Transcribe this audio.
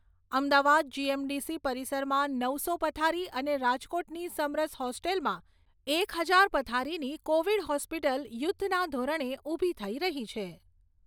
અમદાવાદમાં જીએમડીસી પરિસરમાં નવસો પથારી અને રાજકોટની સમરસ હોસ્ટેલમાં એક હજાર પથારીની કોવિડ હોસ્પિટલ યુધ્ધના ધોરણે ઊભી થઈ રહી છે.